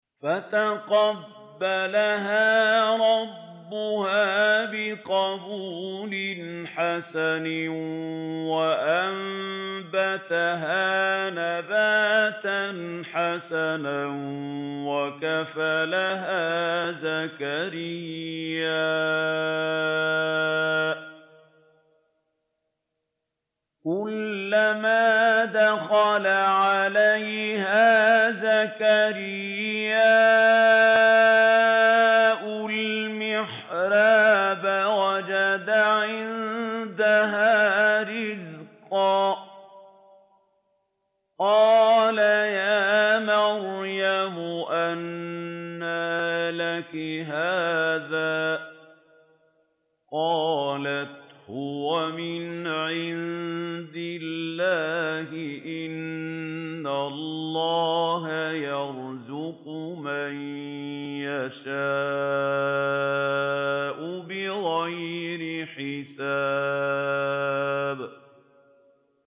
فَتَقَبَّلَهَا رَبُّهَا بِقَبُولٍ حَسَنٍ وَأَنبَتَهَا نَبَاتًا حَسَنًا وَكَفَّلَهَا زَكَرِيَّا ۖ كُلَّمَا دَخَلَ عَلَيْهَا زَكَرِيَّا الْمِحْرَابَ وَجَدَ عِندَهَا رِزْقًا ۖ قَالَ يَا مَرْيَمُ أَنَّىٰ لَكِ هَٰذَا ۖ قَالَتْ هُوَ مِنْ عِندِ اللَّهِ ۖ إِنَّ اللَّهَ يَرْزُقُ مَن يَشَاءُ بِغَيْرِ حِسَابٍ